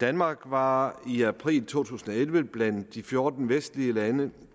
danmark var i april to tusind og elleve blandt de fjorten vestlige lande